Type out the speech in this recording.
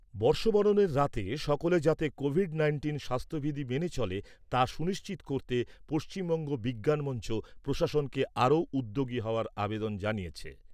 বর্ষবরণের রাতে সকলে যাতে কোভিড নাইন্টিন স্বাস্থ্য বিধি মেনে চলে তা সুনিশ্চিত করতে পশ্চিমবঙ্গ বিজ্ঞান মঞ্চ প্রশাসনকে আরও উদ্যোগী হওয়ার আবেদন জানিয়েছে।